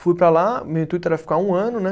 Fui para lá, meu intuito era ficar um ano, né?